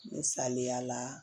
Misaliya la